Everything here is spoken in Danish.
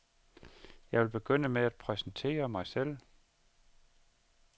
Jeg vil begynde med at præsentere mig selv.